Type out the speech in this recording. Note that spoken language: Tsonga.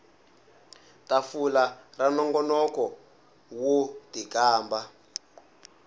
tafula ra nongonoko wo tikamba